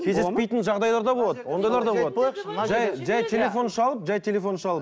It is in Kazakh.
кездеспейтін жағдайлар да болады ондайлар да болады жай жай телефон шалып жай телефон шалып